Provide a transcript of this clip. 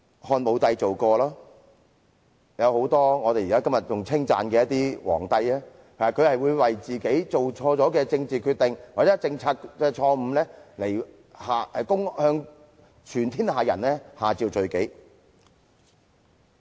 漢武帝做過，很多今時今日受人稱讚的帝皇，也曾為自己做錯的政治決定或錯誤政策向天下人下詔罪己。